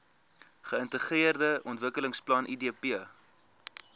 geintegreerde ontwikkelingsplan idp